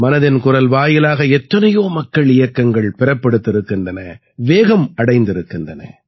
மனதின் குரல் வாயிலாக எத்தனையோ மக்கள் இயக்கங்கள் பிறப்பெடுத்திருக்கின்றன வேகம் அடைந்திருக்கின்றன